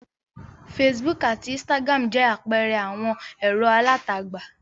Facebook àti Instagram jẹ́ àpẹẹrẹ àwọn ẹ̀rọ alátagbà.